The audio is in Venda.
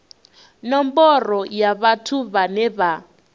nomboro ya vhathu vhane vha